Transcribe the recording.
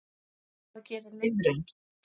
Hvað gerir lifrin?